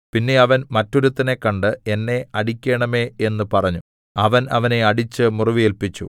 പിന്നെ അവൻ മറ്റൊരുത്തനെ കണ്ട് എന്നെ അടിക്കേണമേ എന്ന് പറഞ്ഞു അവൻ അവനെ അടിച്ച് മുറിവേല്പിച്ചു